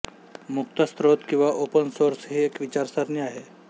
मुक्त स्रोत किंवा ओपन सोर्स ही एक विचारसरणी आहे